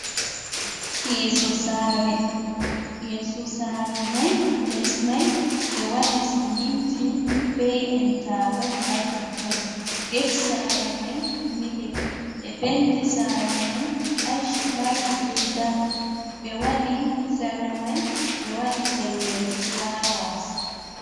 Yeso sare: Yeso sare mai les mai ɓe waɗi siminti be interlock ha totton, gate sare mai milik. Ɓe penti sare mai ache, light be dark. Ɓe waɗi sare mai ɓe waɗi pellel flowers.